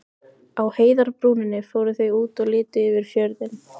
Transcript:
Á heiðarbrúninni fóru þau út og litu niður yfir fjörðinn.